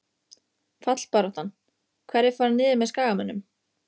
Fallbaráttan- Hverjir fara niður með Skagamönnum?